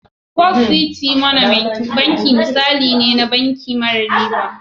First City Monument Banki misali ne na banki mara riba.